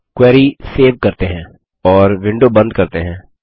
अब query save करते हैं और विंडो बंद करते हैं